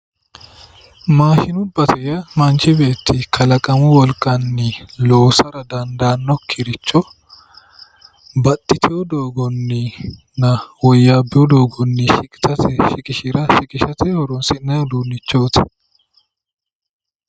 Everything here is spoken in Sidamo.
Maashinubbate yaa manchi beetti kalaqamu wolqanni loosara dandaanokkiricho baxxiteyo doogoninna woyyabeyo doogoni shiqqishirate horonsi'nanni uduunichoti.